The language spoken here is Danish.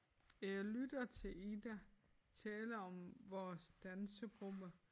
Jeg lytter til Ida tale om vores dansegruppe